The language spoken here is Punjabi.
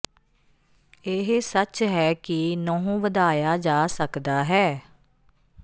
ਇਹ ਸੱਚ ਹੈ ਕਿ ਨਹੁੰ ਵਧਾਇਆ ਜਾ ਸਕਦਾ ਹੈ